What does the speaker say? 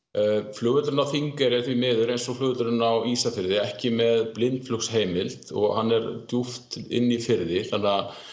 flugvöllurinn á Þingeyri er því miður eins og flugvöllurinn á Ísafirði ekki með og hann er djúpt inni í firði þannig